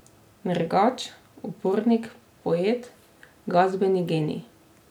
Nergač, upornik, poet, glasbeni genij?